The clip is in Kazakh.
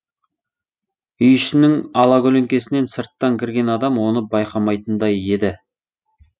үй ішінің алакөлеңкесінен сырттан кірген адам оны байқамайтындай еді